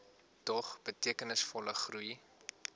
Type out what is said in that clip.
dog betekenisvolle groei